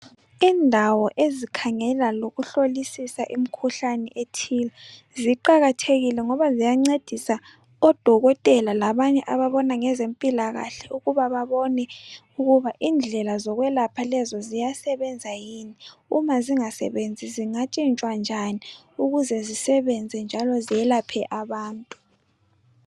indawo ezikhangela lokuhlolisisa imikhuhlane ethile ziqakathekile ngoba ziyancedisa odokotela labanye ababona ngezempilakahle ukuba babone ukuba indlela zokwelapha lezo ziyasebenza yini uma zingasebenzi zingatshintshwa njani ukuze zisebenze njalo zelaphe abantu